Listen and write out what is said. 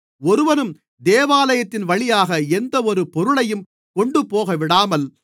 ஒருவனும் தேவாலயத்தின்வழியாக எந்தவொரு பொருளையும் கொண்டுபோகவிடாமல்